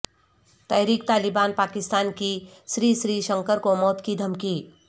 تحریک طالبان پاکستان کی سری سری شنکر کو موت کی دھمکی